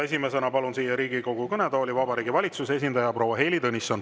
Esimesena palun siia Riigikogu kõnetooli Vabariigi Valitsuse esindaja proua Heili Tõnissoni.